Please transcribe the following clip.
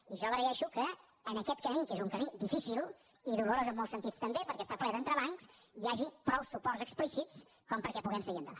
i jo agraeixo que en aquest camí que és un camí difícil i dolorós en molts sentits també perquè està ple d’entrebancs hi hagi prou suports explícits perquè puguem seguir endavant